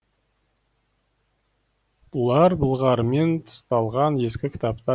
бұлар былғарымен тысталған ескі кітаптар еді